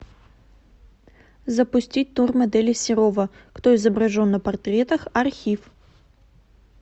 запустить тур модели серова кто изображен на портретах архив